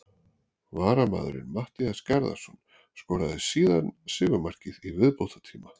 Varamaðurinn Matthías Garðarsson skoraði síðan sigurmarkið í viðbótartíma.